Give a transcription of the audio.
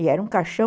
E era um caixão